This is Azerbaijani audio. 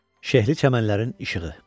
Şəhərli çəmənlərin işığı.